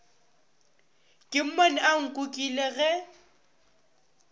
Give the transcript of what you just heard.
ke mmone a nkukile ge